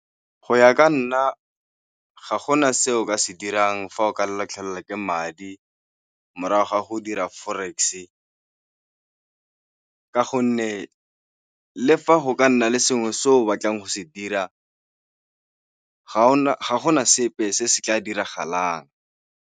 Go ya ka nna, ga gona se o ka se dirang fa o ka latlhegelwa ke madi morago ga go dira forex-e ka gonne le fa go ka nna le sengwe se o batlang go se dira, ga gona sepe se se tla diragalang.